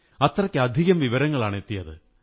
അത്രയ്ക്കധികം വിവരങ്ങളാണെത്തിയത്